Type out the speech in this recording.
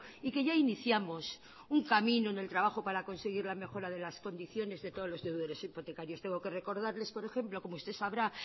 y que ya iniciamos un camino en el trabajo para conseguir la mejora de las condiciones de todos los deudores hipotecarios tengo que recordarles por ejemplo como usted sabrá